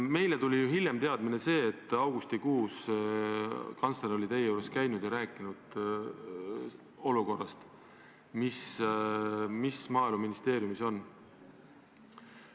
Me saime ju hiljem teada, et augustikuus käis kantsler teie juures ja rääkis olukorrast, mis Maaeluministeeriumis on kujunenud.